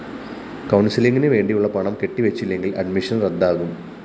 കൗണ്‍സിലിങ്ങിനു വേണ്ടിയുള്ള പണം കെട്ടിവച്ചില്ലെങ്കില്‍ അഡ്മിഷൻ റദ്ദാകും